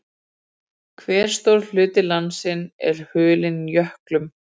Hve stór hluti landsins er hulinn jöklum?